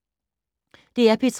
DR P3